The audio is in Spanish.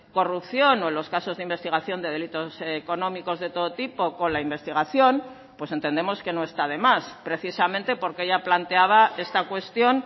corrupción o en los casos de investigación de delitos económicos de todo tipo con la investigación pues entendemos que no está de más precisamente porque ya planteaba esta cuestión